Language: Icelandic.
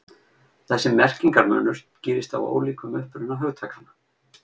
Þessi merkingarmunur skýrist af ólíkum uppruna hugtakanna.